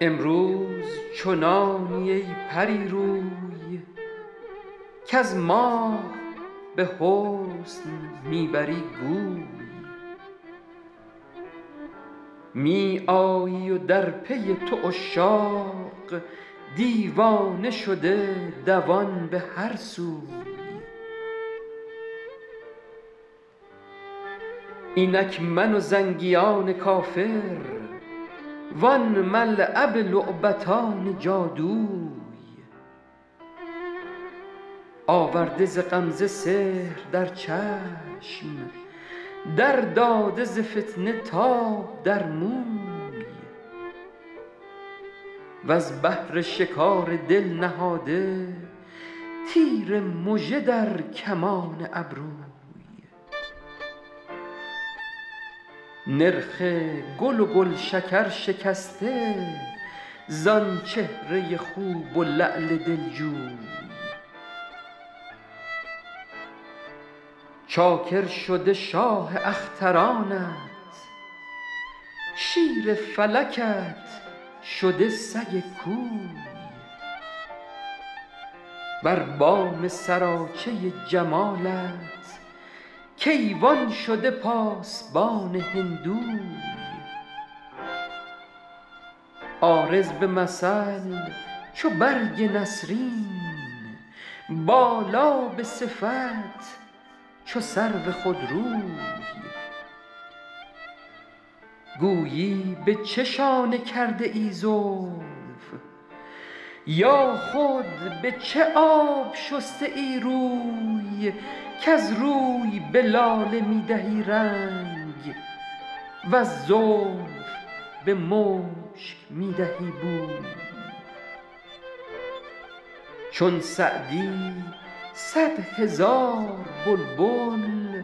امروز چنانی ای پری روی کز ماه به حسن می بری گوی می آیی و در پی تو عشاق دیوانه شده دوان به هر سوی اینک من و زنگیان کافر وان ملعب لعبتان جادوی آورده ز غمزه سحر در چشم در داده ز فتنه تاب در موی وز بهر شکار دل نهاده تیر مژه در کمان ابروی نرخ گل و گلشکر شکسته زآن چهره خوب و لعل دلجوی چاکر شده شاه اخترانت شیر فلکت شده سگ کوی بر بام سراچه جمالت کیوان شده پاسبان هندوی عارض به مثل چو برگ نسرین بالا به صفت چو سرو خودروی گویی به چه شانه کرده ای زلف یا خود به چه آب شسته ای روی کز روی به لاله می دهی رنگ وز زلف به مشک می دهی بوی چون سعدی صد هزار بلبل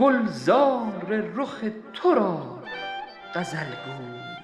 گلزار رخ تو را غزل گوی